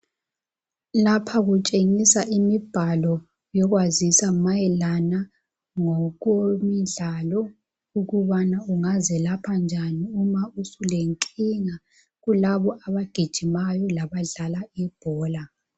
Lapha kutshengisa imibhalo yokwazisa mayelana ngokomdlalo ukubana ungazelapha njani uma usulenkinga kulabo abagijimayo laba dlala ibhola.